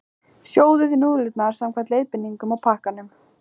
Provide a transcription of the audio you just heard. Sjóðið núðlurnar samkvæmt leiðbeiningum á pakkanum.